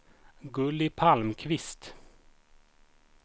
Gulli Palmqvist